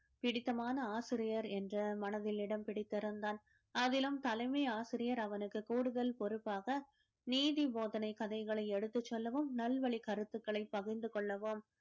பிடித்தமான ஆசிரியர் என்ற மனதில் இடம் பிடித்திருந்தான் அதிலும் தலைமை ஆசிரியர் அவனுக்கு கூடுதல் பொறுப்பாக நீதி போதனை கதைகளை எடுத்துச் சொல்லவும் நல்வழி கருத்துக்களை பகிர்ந்து கொள்ளவும்